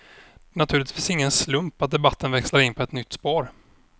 Det är naturligtvis ingen slump att debatten växlar in på ett nytt spår.